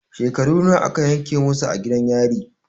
Shekaru nawa a ka yanke musu a gidan yari?